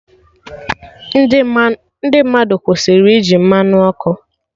Ndị mmadụ kwụsịrị iji Mmanụ ọkụ